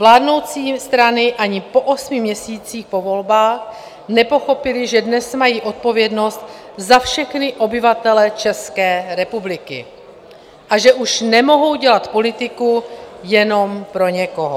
Vládnoucí strany ani po osmi měsících po volbách nepochopily, že dnes mají odpovědnost za všechny obyvatele České republiky a že už nemohou dělat politiku jenom pro někoho.